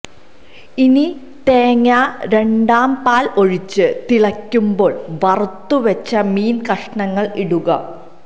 ഇനി തേങ്ങാ രണ്ടാം പാൽ ഒഴിച്ച് തിളക്കുമ്പോൾ വറുത്ത് വെച്ച മീൻ കഷങ്ങൾ ഇടുക